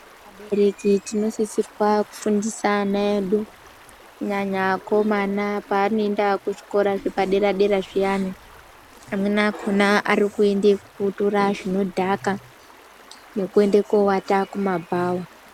Abereki tinosisirwa kufundisa ana edu kunyanya akomana paanoenda kuzvikora zvepadera-dera zviyani. Amweni akona arikuende kotora zvinodhaka nekoende kovata kumabhawa.